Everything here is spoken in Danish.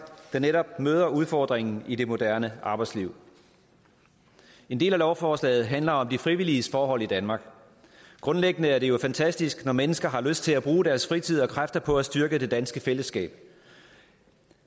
der netop møder udfordringen i det moderne arbejdsliv en del af lovforslaget handler om de frivilliges forhold i danmark grundlæggende er det jo fantastisk når mennesker har lyst til at bruge deres fritid og kræfter på at styrke det danske fællesskab